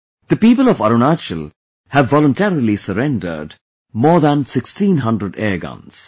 The people of Arunachal have voluntarily surrendered more than 1600 airguns